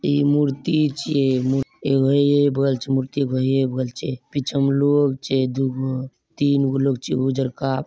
इ मूर्ति छे एगो ए बगल छे और एगो ए बगल छे पिछु लोग छे दुगो तीन लोग छे उजर का --